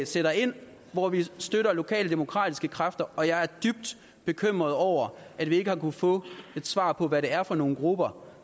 sætter ind hvor vi støtter lokale demokratiske kræfter og jeg er dybt bekymret over at vi ikke har kunnet få et svar på hvad det er for nogle grupper